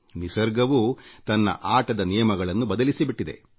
ನಿಸರ್ಗವೂ ತನ್ನ ಆಟದ ನಿಯಮಗಳನ್ನು ಬದಲಿಸಿಬಿಟ್ಟಿದೆ